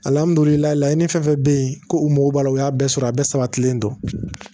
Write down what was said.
Alihamudulila layi fɛn o fɛn bɛ yen ko u mago b'a la o y'a bɛɛ sɔrɔ a bɛɛ sabatilen don